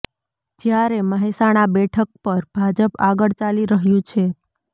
જ્યારે મહેસાણા બેઠક પર ભાજપ આગળ ચાલી રહ્યુ છે